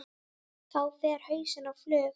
Þá fer hausinn á flug.